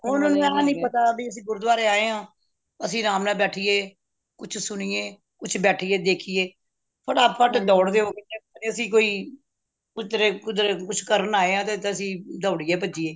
ਉਹਨਾਂ ਨੂੰ ਇਹ ਨਹੀਂ ਪਤਾ ਬਇ ਅੱਸੀ ਗੁਰੂਦੁਆਰੇ ਆਏ ਆ ਅੱਸੀ ਅਰਾਮ ਨਾਲ ਬੈਠੀਏ ਕੁਛ ਸੁਨਿਯੇ ਤੇ ਬੈਠੀਏ ਦੇਖੀਏ ਫਟਾਫਟ ਦੌੜਦੇ ਅੱਸੀ ਕੋਈ ਕਿਧਰੇ ਕੁਛ ਕਰਨ ਆਏ ਆ ਤੇ ਅਸੀਂ ਡੋਰੀਏ ਭੱਜੀਏ